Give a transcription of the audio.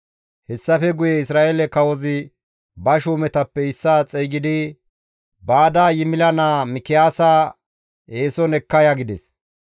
Hessafe guye Isra7eele kawozi ba shuumetappe issaa xeygidi, «Baada Yimila naa Mikiyaasa eeson ekka ya» gides.